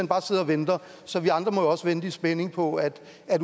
bare sidder og venter så vi andre må jo også vente i spænding på at